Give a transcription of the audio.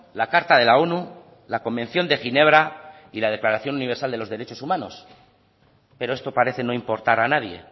la carta de la onu la convención de ginebra y la declaración universal de los derechos humanos pero esto parece no importar a nadie